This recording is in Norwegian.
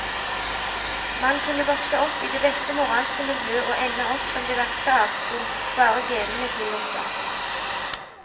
Man kunne vokse opp i det beste moralske miljø og ende opp som det verste avskum, bare genene tillot det.